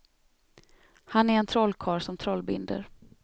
Han är en trollkarl som trollbinder.